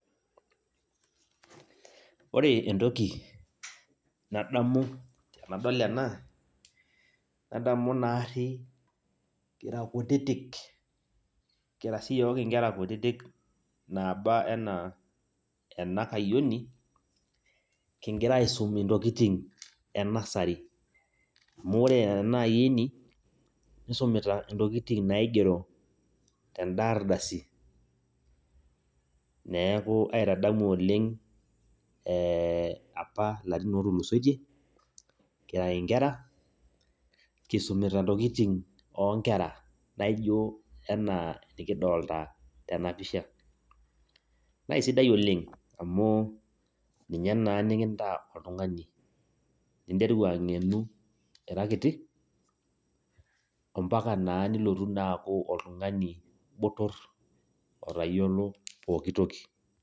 Ore entoki nadamu tenadol ena, nadamu naarri kira kutitik, kira siyiok inkera kutitik naaba enaa enakayioni, kigira aisum intokiting enasari. Amu ore enaayioni, nisumita intokiting naigero teda ardasi. Neeku aitadamu oleng apa larin otulusotie, kira inkera, kisumita intokiting onkera naijo enaa nikidolta tenapisha. Na sidai oleng, amu ninye naa nikintaa oltung'ani. Ninteru ang'enu ira kiti, ompaka naa nilotu naa aku oltung'ani botor, otayiolo pooki toki.